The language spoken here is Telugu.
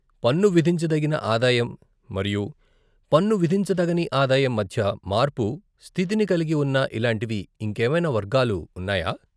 పన్ను విధించదగిన ఆదాయం మరియు పన్ను విధించదగని ఆదాయం మధ్య మార్పు స్థితిని కలిగి ఉన్న ఇలాంటివి ఇంకేమైనా వర్గాలు ఉన్నాయా?